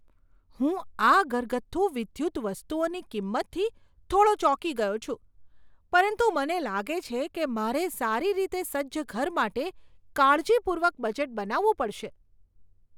હું આ ઘરગથ્થુ વિદ્યુત વસ્તુઓની કિંમતથી થોડો ચોંકી ગયો છું, પરંતુ મને લાગે છે કે મારે સારી રીતે સજ્જ ઘર માટે કાળજીપૂર્વક બજેટ બનાવવું પડશે.